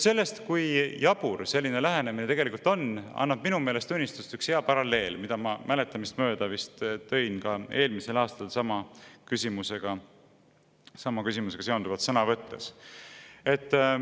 Sellest, kui jabur selline lähenemine on, annab minu meelest tunnistust üks hea paralleel, mille ma mäletamist mööda tõin ka eelmisel aastal sama küsimusega seonduvalt sõna võttes.